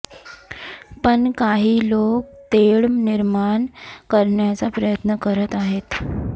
पण काही लोक तेढ निर्माण करण्याचा प्रयत्न करत आहेत